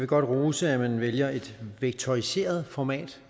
godt rose at man vælger et vektoriseret format